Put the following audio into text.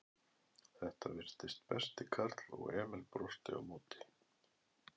Þetta virtist besti karl og Emil brosti á móti.